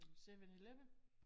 7/11?